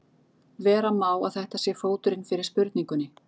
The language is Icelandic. Vera má að þetta sé fóturinn fyrir spurningunni.